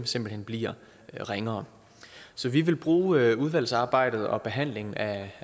simpelt hen bliver ringere vi vil bruge udvalgsarbejdet og behandlingen af